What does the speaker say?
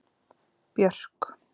Björk